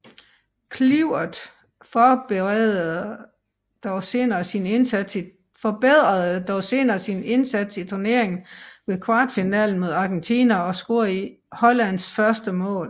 Kluivert forbedrede dog senere sin indsats i turneringen ved i kvartfinalen mod Argentina at score Hollands første mål